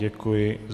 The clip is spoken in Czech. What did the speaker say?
Děkuji.